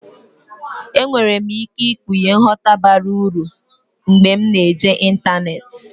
Enwere m ike ikpughe nghọta bara uru mgbe m na-eji ịntanetị.